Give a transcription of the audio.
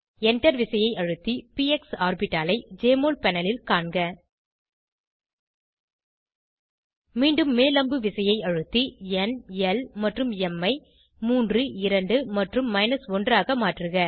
Enter விசையை அழுத்தி PX ஆர்பிட்டாலை ஜெஎம்ஒஎல் பேனல் ல் காண்க மீண்டும் மேல்அம்புவிசையை அழுத்தி ந் ல் மற்றும் ம் ஐ 3 2 மற்றும் 1 ஆக மாற்றுக